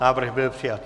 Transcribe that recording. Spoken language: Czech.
Návrh byl přijat.